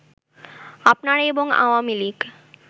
আপনারা এবং আওয়ামী লীগ